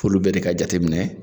F'uju bɛɛ ka jate minɛ.